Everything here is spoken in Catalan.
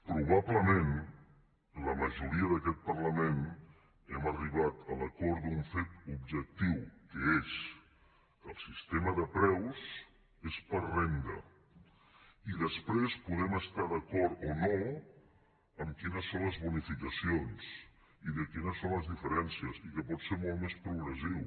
probablement la majoria d’aquest parlament hem arribat a l’acord d’un fet objectiu que és que el sistema de preus és per renda i després podem estar d’acord o no en quines són les bonificacions i en quines són les diferències i que pot ser molt més progressiu